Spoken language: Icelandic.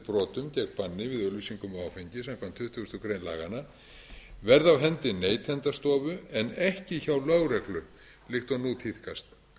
brotum gegn banni við auglýsingum á áfengi samkvæmt tuttugustu greinar laganna verði á hendi neytendastofu en ekki hjá lögreglu líkt og nú tíðkast